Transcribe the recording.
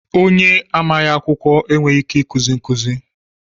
Onye amaghị akwụkwọ enweghị ike ikuzi nkụzi